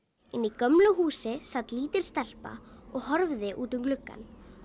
gömlu húsi sat lítil stelpa og horfði út um gluggann